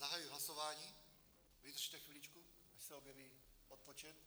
Zahajuji hlasování, vydržte chviličku, až se objeví odpočet.